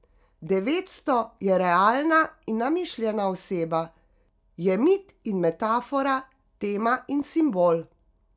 Devetsto je realna in namišljena oseba, je mit in metafora, tema in simbol.